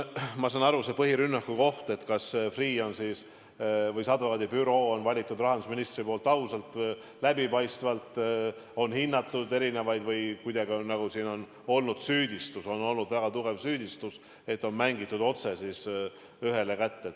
Ma saan aru, et põhirünnaku koht on see, kas Freeh' või selle advokaadibüroo on rahandusminister valinud ausalt ja läbipaistvalt või kas – nagu siin on esitatud süüdistus, väga tugev süüdistus – see leping on mängitud otse ühele kätte.